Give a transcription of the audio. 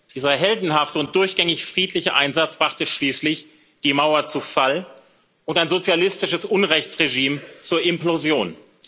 Dieser heldenhafte und durchgängig friedliche Einsatz brachte schließlich die Mauer zu Fall und ein sozialistisches Unrechtsregime zur Implosion.